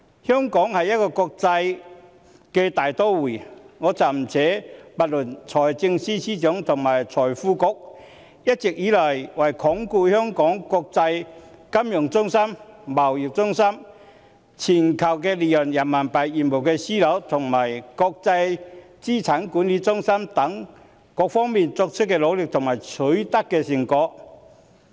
香港是一個國際大都會，我暫不說財政司司長及財經事務及庫務局一直以來為鞏固香港國際金融中心、貿易中心、全球離岸人民幣業務樞紐及國際資產管理中心等各方面作出的努力及取得的成果。